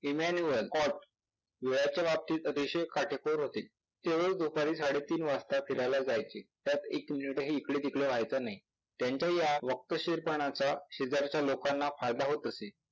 imanual horse वेळेच्या बाबतीत अतिशय काटेकोर होते. ते रोज दुपारी साडे तीन वाजता फिरायला जायचे. त्यात एक मिनिटही इकडेतिकडे व्हायचा नाही. त्यांच्या या वक्तशीरपणाचा शेजारच्या लोकांना फायदा होत असे.